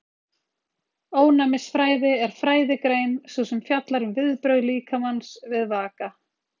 Ónæmisfræði er fræðigrein sú sem fjallar um viðbrögð líkamans við vaka.